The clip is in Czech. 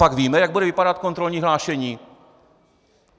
Copak víme, jak bude vypadat kontrolní hlášení?